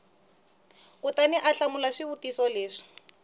kutani u hlamula swivutiso leswi